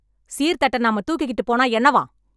சீர் தட்டை நாம தூக்கிகிட்டு போனா என்னவாம்...